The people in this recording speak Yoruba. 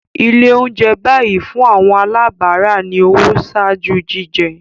Ile ounjẹ bayi fun awọn alabara ni owo ṣaaju jijẹ